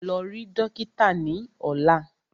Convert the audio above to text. Lọ rí dókítà ni ọ̀la!